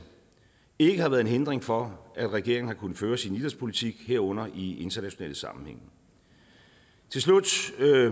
ikke har været en hindring for at regeringen har kunnet føre sin idrætspolitik herunder i international sammenhæng til slut